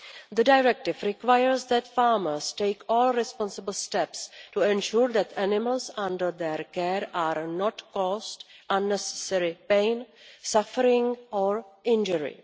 The directive requires that farmers take all responsible steps to ensure that animals under their care are not caused unnecessary pain, suffering or injury.